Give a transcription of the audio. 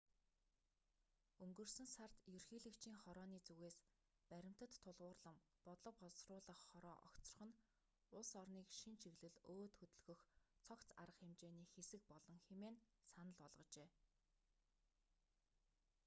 өнгөрсөн сард ерөнхийлөгчийн хорооны зүгээс баримтад тулгуурлан бодлого боловсруулах хороо огцрох нь улс орныг шинэ чиглэл өөд хөдөлгөх цогц арга хэмжээний хэсэг болно хэмээн санал болгожээ